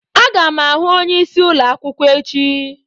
Aga m ahụ onyeisi ụlọ akwụkwọ echi.